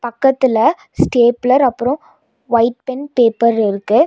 பக்கத்துல ஸ்டேப்ளர் அப்றோ white pen paper இருக்கு.